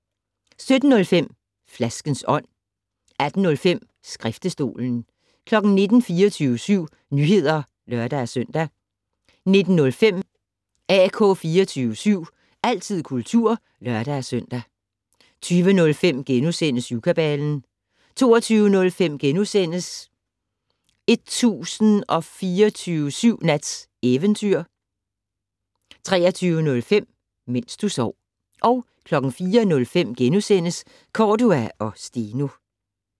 17:05: Flaskens ånd 18:05: Skriftestolen 19:00: 24syv Nyheder (lør-søn) 19:05: AK 24syv - altid kultur (lør-søn) 20:05: Syvkabalen * 22:05: 1024syv Nats Eventyr * 23:05: Mens du sov 04:05: Cordua & Steno *